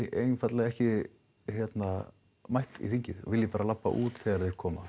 einfaldlega ekki mætt í þingið og vilji bara labba út þegar þeir koma